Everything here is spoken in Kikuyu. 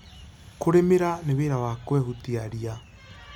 Kũrĩmĩra nĩ wĩra wa kwehutia ria.